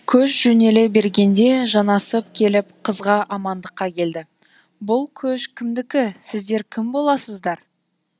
көш жөнеле бергенде жанасып келіп қызға амандыққа келді бұл көш кімдікі сіздер кім боласыздар